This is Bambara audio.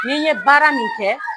ni n ye baara min kɛ